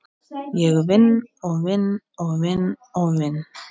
Ég vinn og vinn og vinn og vinn.